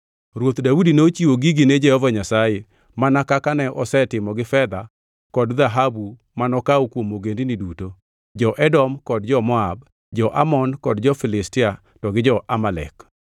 Ruoth Daudi nochiwo gigi ne Jehova Nyasaye, mana kaka ne osetimo gi fedha kod dhahabu manokawo kuom ogendini duto: jo-Edom kod jo-Moab, jo-Amon kod jo-Filistia to gi jo-Amalek.